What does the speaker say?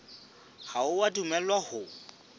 ha o a dumellwa ho